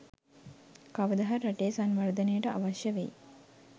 කවද හරි රටේ සංවර්දනයට අවශ්‍ය වෙයි